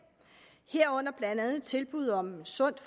herunder blandt andet tilbuddet om et sundt